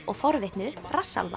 og forvitnu